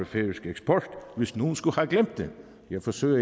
færøsk eksport hvis nogen skulle have glemt det jeg forsøger at